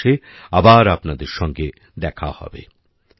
সামনের মাসে আবার আপনাদের সঙ্গে দেখা হবে